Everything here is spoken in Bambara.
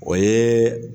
O ye